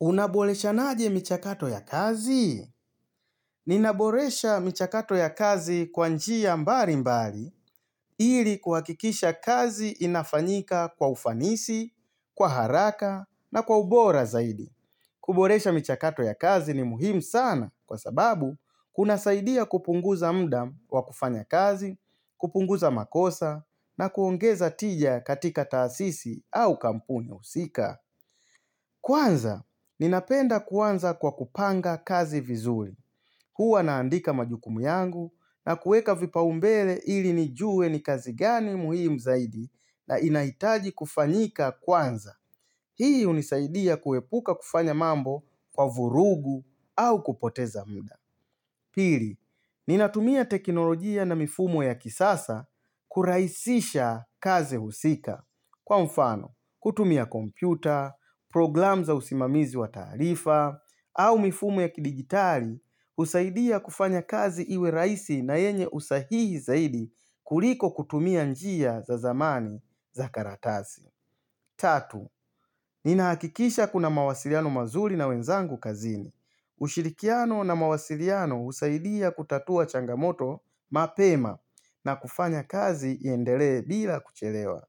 Unaboreshana je michakato ya kazi? Ninaboresha michakato ya kazi kwanjia mbali mbali ili kuhakikisha kazi inafanyika kwa ufanisi, kwa haraka na kwa ubora zaidi. Kuboresha mchakato ya kazi ni muhimu sana kwa sababu kuna saidia kupunguza mudaa wa kufanya kazi, kupunguza makosa na kuongeza tija katika taasisi au kampuni husika. Kwanza, ninapenda kwanza kwa kupanga kazi vizuli. Huwa naandika majukumu yangu na kueka vipaumbele ili nijue ni kazi gani muhimu zaidi na inaitaji kufanyika kwanza. Hii hunisaidia kuepuka kufanya mambo kwa vurugu au kupoteza muda. Pili, ninatumia teknolojia na mifumo ya kisasa kuraisisha kazi husika. Kwa mfano, kutumia kompyuta, program za usimamizi wa tarifa, au mifumu ya kidigitali, husaidia kufanya kazi iwe raisi na yenye usahihi zaidi kuliko kutumia njia za zamani za karatazi. Tatu, ninaakikisha kuna mawasiriano mazuri na wenzangu kazini. Ushirikiano na mawasiriano husaidia kutatua changamoto mapema na kufanya kazi yendele bila kuchelewa.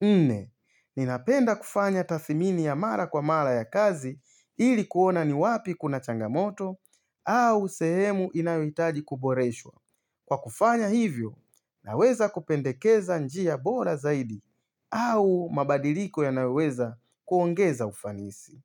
Nne, ninapenda kufanya tathimini ya mara kwa mara ya kazi ilikuona ni wapi kuna changamoto au sehemu inayohitaji kuboreshwa. Kwa kufanya hivyo, naweza kupendekeza njia bora zaidi au mabadiliko yanayo weza kuongeza ufanisi.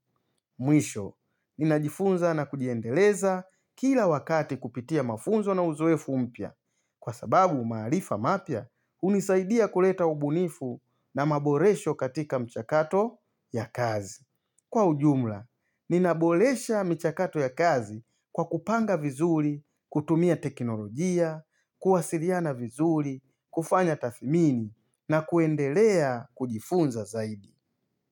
Mwisho, ninajifunza na kujiendeleza kila wakati kupitia mafunzo na uzowefu mpya. Kwa sababu, maalifa mapya hunisaidia kuleta ubunifu na maboresho katika mchakato ya kazi. Kwa ujumla, ninaboresha michakato ya kazi kwa kupanga vizuri, kutumia teknolojia, kuwasiriana vizuri, kufanya tathimini na kuendelea kujifunza zaidi.